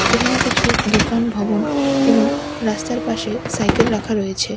সেখানে কিছু দোকান ভবন এবং রাস্তার পাশে সাইকেল রাখা রয়েছে।